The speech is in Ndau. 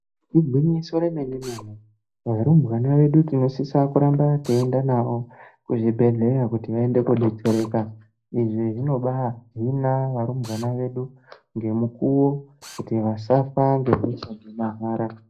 Igwinyiso remene-mene, varumbwana vedu, tinosisa kuramba tiienda navo kuzvibhedhleya kuti vaende kobetsereka. Izvi zvinoba hina varumbwana vedu ngemukuvo kuti vasafa ngehosha dzemahara.